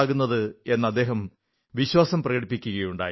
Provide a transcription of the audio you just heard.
എന്ന് അദ്ദേഹം വിശ്വാസം പ്രകടിപ്പിക്കുകയുണ്ടായി